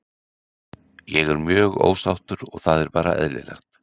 Ég er mjög ósáttur og það er bara eðlilegt.